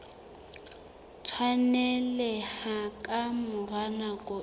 tshwaneleha ka mora nako e